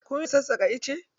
Kun iya sassaƙa ice?